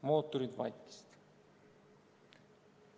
Mootorid vaikisid."